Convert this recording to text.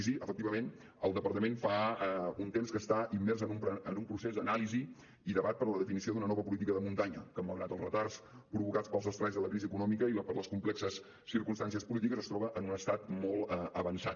i sí efectivament el departament fa un temps que està immers en un procés d’anàlisi i debat per a la definició d’una nova política de muntanya que malgrat els retards provocats pels estralls de la crisi econòmica i per les complexes circumstàncies polítiques es troba en un estat molt avançat